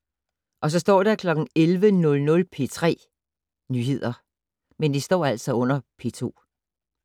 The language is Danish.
11:00: P3 Nyheder